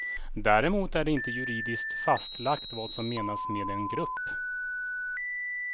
Däremot är det inte juridiskt fastlagt vad som menas med en grupp.